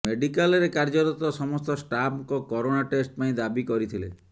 ମେଡିକାଲ୍ରେ କାର୍ଯ୍ୟରତ ସମସ୍ତ ଷ୍ଟାଫ୍ଙ୍କ କରୋନା ଟେଷ୍ଟ ପାଇଁ ଦାବି କରିଥିଲେ